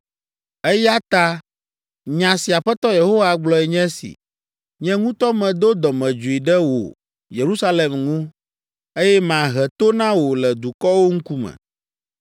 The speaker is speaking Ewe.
“Eya ta nya si Aƒetɔ Yehowa gblɔe nye si, ‘Nye ŋutɔ medo dɔmedzoe ɖe wò, Yerusalem ŋu, eye mahe to na wò le dukɔwo ŋkume.